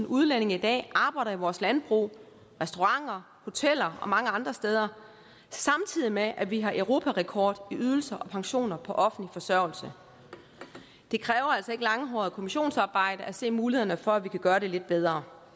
udlændinge i dag arbejder i vores landbrug restauranter hoteller og mange andre steder samtidig med at vi har europarekord i ydelser og pensioner på offentlig forsørgelse det kræver altså ikke langhåret kommissionsarbejde at se mulighederne for at vi kan gøre det lidt bedre